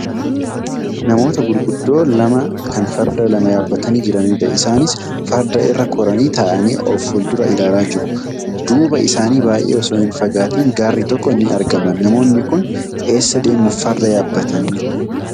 Namoota gurguddoo lama kan farda lama yaabbatanii jiranidha. Isaanis farda irra koranii taa'anii of fuldura ilaalaa jiru. Duuba isaanii baay'ee osoo hin fagaatin gaarri tokko ni argama. Namoonni kun eessa deemuuf farda yaabbatanii?